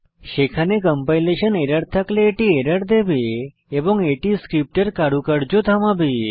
সেখানে compilation error থাকলে এটি এরর দেবে এবং এটি স্ক্রিপ্টের কারুকার্য থামাবে